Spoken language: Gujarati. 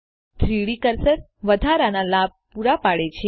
3ડી કર્સર વધારાના લાભ પૂરા પાડે છે